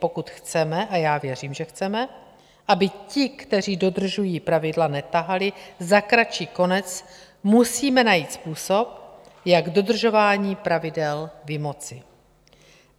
Pokud chceme, a já věřím, že chceme, aby ti, kteří dodržují pravidla, netahali za kratší konec, musíme najít způsob, jak dodržování pravidel vymoci.